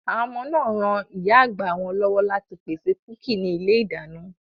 Àwọn ọmọ náà r ran ìyá àgbà wọn lọ́wọ́ láti pèsè kúkì ní ilé-ìdáná.